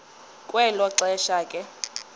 kwelo xesha ke